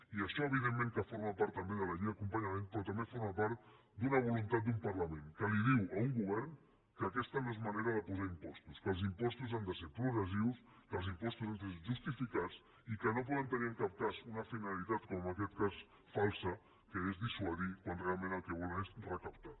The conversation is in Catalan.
i això evidentment que forma part també de la llei d’acompanyament però també forma part d’una voluntat d’un parlament que li diu a un govern que aquesta no és manera de posar impostos que els impostos han de ser progressius que els impostos han de ser justificats i que no poden tenir en cap cas una finalitat com en aquest cas falsa que és dissuadir quan realment el que volen és recaptar